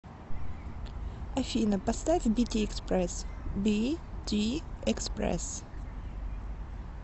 афина поставь бити экспресс би ти экспресс